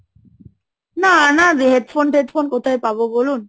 না, না, headphone, headphone কোথায় পাবো বলুন?